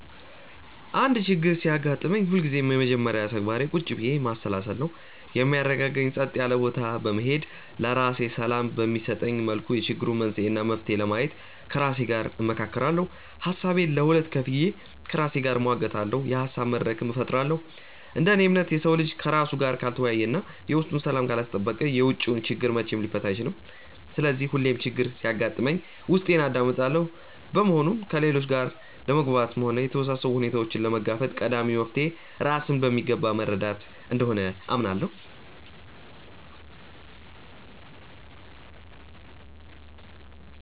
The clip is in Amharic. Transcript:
አንድ ችግር ሲያጋጥመኝ ሁልጊዜም የመጀመሪያ ተግባሬ ቁጭ ብዬ ማሰላሰል ነው። የሚያረጋጋኝ ጸጥ ያለ ቦታ በመሄድ፣ ለራሴ ሰላም በሚሰጠኝ መልኩ የችግሩን መንስኤ እና መፍትሄ ለማየት ከራሴ ጋር እመካከራለሁ። ሀሳቤን ለሁለት ከፍዬ ከራሴ ጋር እሟገታለሁ፤ የሀሳብ መድረክም እፈጥራለሁ። እንደ እኔ እምነት፣ የሰው ልጅ ከራሱ ጋር ካልተወያየ እና የውስጡን ሰላም ካላስጠበቀ የውጪውን ችግር መቼም ሊፈታ አይችልም። ስለዚህ ሁሌም ችግር ሲያጋጥመኝ ውስጤን አዳምጣለሁ። በመሆኑም ከሌሎች ጋር ለመግባባትም ሆነ የተወሳሰቡ ሁኔታዎችን ለመጋፈጥ ቀዳሚው መፍትሔ ራስን በሚገባ መረዳት እንደሆነ አምናለሁ።